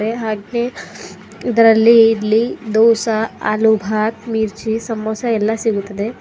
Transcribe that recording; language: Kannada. ಹಾಗೆ ಇದ್ರಲ್ಲಿ ಇಲ್ಲಿ ದೋಸಾ ಆಲೂಬಾತ್ ಮಿರ್ಚಿ ಸಮೋಸ ಎಲ್ಲ ಸಿಗುತ್ತದೆ.